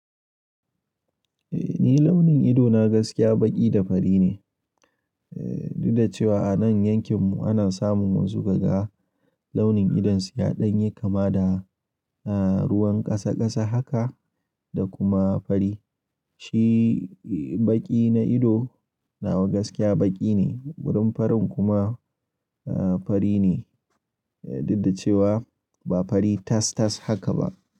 Eh ni launin ido na gaskiya baƙi da fari ne. Eh duk da cewa a nan yankin mu ana samun wasu kaga launin idon su yaɗanye kama da, ah, ruwan ƙasa ƙasa haka da kuma fari. Shi, eh, baƙi na ido nawa gaskiya baƙi ne, wurin farin kuma, ah, fari ne. Eh duk da cewa ba fari tas tas haka ba.